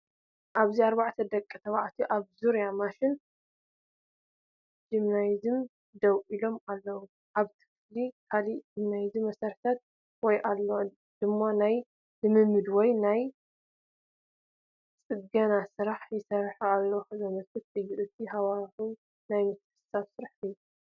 ኣብዚ ኣርባዕተ ደቂ ተባዕትዮ ኣብ ዙርያ ማሽን ጂምናዝየም ደው ኢሎም ኣለዉ። ኣብቲ ክፍሊ ካልእ ናይ ጂምናዝየም መሳርሒታት ኣሎ፡ እዚ ድማ ናይ ልምምድ ወይ ናይ ጽገና ስራሕ ይስራሕ ከምዘሎ ዘመልክት እዩ። እቲ ሃዋህው ናይ ምትሕብባርን ስራሕን እዩ።